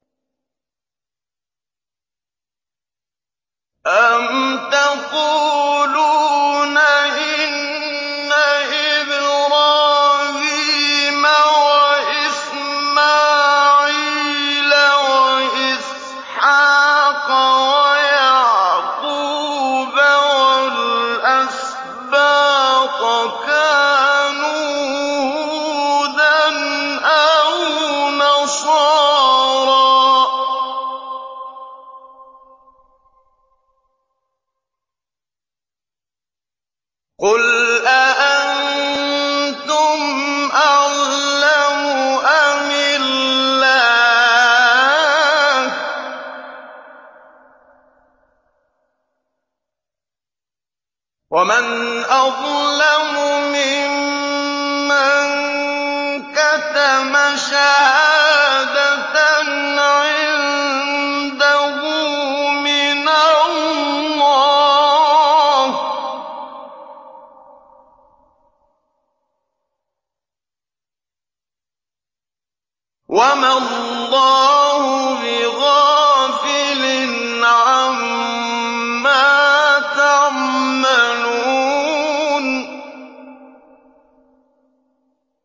أَمْ تَقُولُونَ إِنَّ إِبْرَاهِيمَ وَإِسْمَاعِيلَ وَإِسْحَاقَ وَيَعْقُوبَ وَالْأَسْبَاطَ كَانُوا هُودًا أَوْ نَصَارَىٰ ۗ قُلْ أَأَنتُمْ أَعْلَمُ أَمِ اللَّهُ ۗ وَمَنْ أَظْلَمُ مِمَّن كَتَمَ شَهَادَةً عِندَهُ مِنَ اللَّهِ ۗ وَمَا اللَّهُ بِغَافِلٍ عَمَّا تَعْمَلُونَ